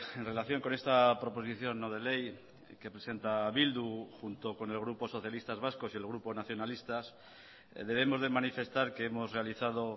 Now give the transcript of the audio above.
en relación con esta proposición no de ley que presenta bildu junto con el grupo socialistas vascos y el grupo nacionalistas debemos de manifestar que hemos realizado